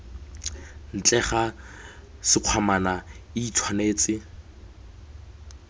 ntle ga sekgwamana i tshwanetse